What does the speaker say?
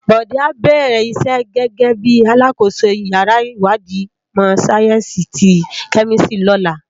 Bode á bèrè isè gègè bi àlákósó iyàrá iwádí imò sáyènsí ti kèmìsítrí lòlá